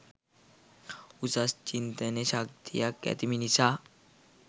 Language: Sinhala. උසස් චින්තන ශක්තියක් ඇති මිනිසා